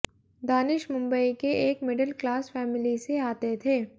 दानिश मुंबई के एक middle class family से आते थे